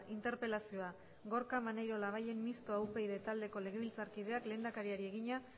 interpelazioa gorka maneiro labayen mistoa upyd taldeko legebiltzarkideak lehendakariari egina